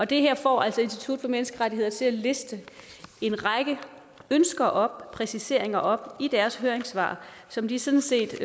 det her får altså institut for menneskerettigheder til at liste en række ønsker om præciseringer op i deres høringssvar som de sådan set